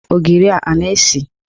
Ogiri a na-esi?